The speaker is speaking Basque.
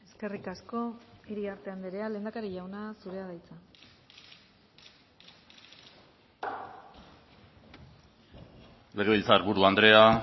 eskerrik asko iriarte andrea lehendakari jauna zurea da hitza legebiltzarburu andrea